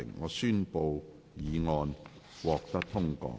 我宣布議案獲得通過。